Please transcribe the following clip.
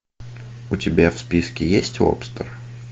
у тебя в списке есть лобстер